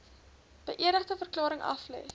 beëdigde verklaring aflê